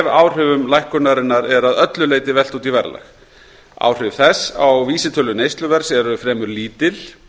áhrifum lækkunarinnar er að öllu leyti velt út í verðlag áhrif þess á vísitölu neysluverðs eru fremur lítil